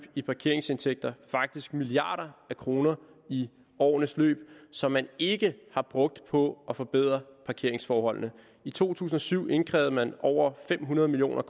i parkeringsindtægter faktisk milliarder af kroner i årenes løb som man ikke har brugt på at forbedre parkeringsforholdene i to tusind og syv indkrævede man over fem hundrede million